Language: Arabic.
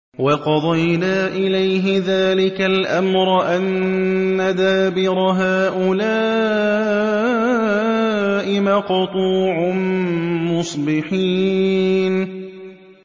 وَقَضَيْنَا إِلَيْهِ ذَٰلِكَ الْأَمْرَ أَنَّ دَابِرَ هَٰؤُلَاءِ مَقْطُوعٌ مُّصْبِحِينَ